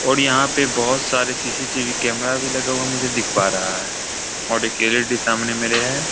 और यहाँ पे बहुत सारे सी.सी.टी.वी. कैमरा भी लगा हुआ मुझे दिख पा रहा है और एक एल.ई.डी. सामने मेरे है।